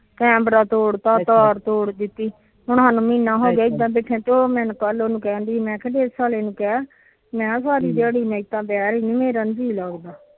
camera ਤੋੜ ਤਾ ਤਾਰ ਤੋੜ ਦਿੱਤੀ ਹੁਣ ਸਾਨੂੰ ਮਹੀਨਾ ਹੋ ਗਿਆ ਡਿਛ ਆਲੇ ਨੂੰ ਕਹਿ ਮੈ ਸਾਰੀ ਦਿਹਾੜੀ ਮੇਰਾ ਨੀ ਜੀਅ ਲੱਗਦਾ